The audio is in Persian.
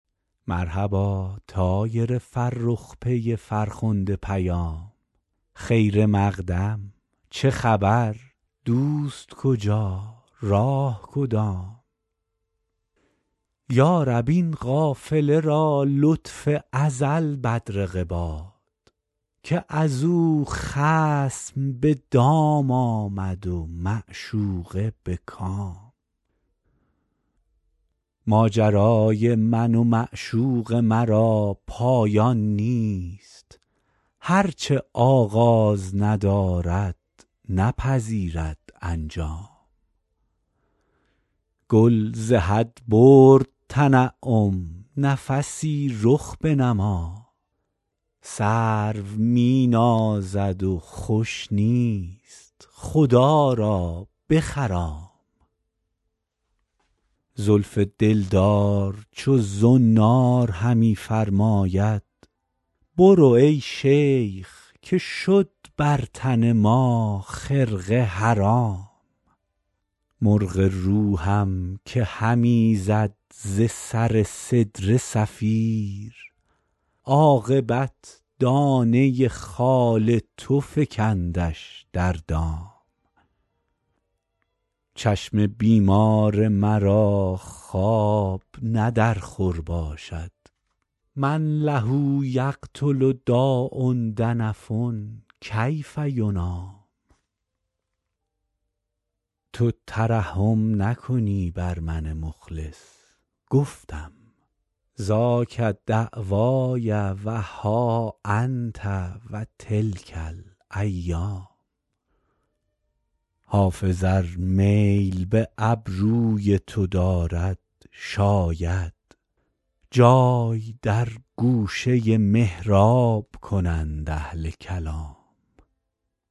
مرحبا طایر فرخ پی فرخنده پیام خیر مقدم چه خبر دوست کجا راه کدام یا رب این قافله را لطف ازل بدرقه باد که از او خصم به دام آمد و معشوقه به کام ماجرای من و معشوق مرا پایان نیست هر چه آغاز ندارد نپذیرد انجام گل ز حد برد تنعم نفسی رخ بنما سرو می نازد و خوش نیست خدا را بخرام زلف دلدار چو زنار همی فرماید برو ای شیخ که شد بر تن ما خرقه حرام مرغ روحم که همی زد ز سر سدره صفیر عاقبت دانه خال تو فکندش در دام چشم بیمار مرا خواب نه در خور باشد من له یقتل داء دنف کیف ینام تو ترحم نکنی بر من مخلص گفتم ذاک دعوای و ها انت و تلک الایام حافظ ار میل به ابروی تو دارد شاید جای در گوشه محراب کنند اهل کلام